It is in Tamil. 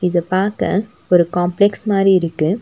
இத பாக்க ஒரு காம்ப்ளக்ஸ் மாரி இருக்கு.